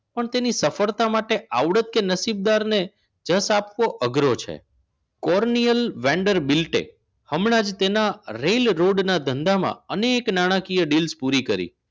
પણ તેની સફળતા માટે આવડત કે નસીબદાર ને જશ આપવો અઘરો છે. cornier vendor bilt એ હમણાં જ તેના rail road ના ધંધામાં